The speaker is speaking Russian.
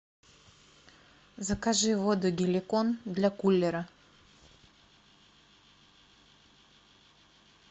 закажи воду геликон для кулера